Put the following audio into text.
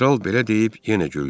Kral belə deyib yenə güldü.